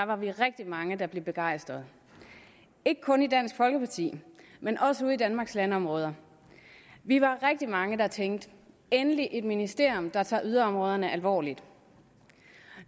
var vi rigtig mange der blev begejstrede ikke kun i dansk folkeparti men også ude i danmarks landområder vi var rigtig mange der tænkte endelig et ministerium der tager yderområderne alvorligt